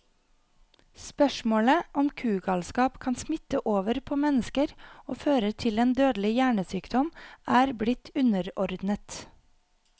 Spørsmålet om kugalskap kan smitte over på mennesker og føre til en dødelig hjernesykdom, er blitt underordnet.